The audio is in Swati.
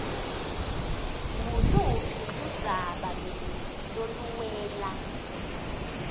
nguluphi ludzaba loluwela